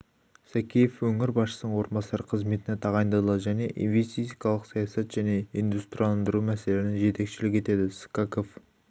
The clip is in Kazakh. сакеев өңір басшысының орынбасары қызметіне тағайындалды және инвестицилық саясат және индстрияландыру мәселелеріне жетекшілік етеді скаков